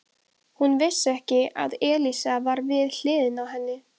Hún vissi ekki að Elísa var við hliðina á henni.